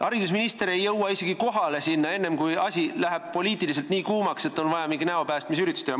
" Haridusminister ei jõua isegi sinna kohale enne, kui õhkkond läheb poliitiliselt nii kuumaks, et on vaja mingi näo päästmise üritus teha.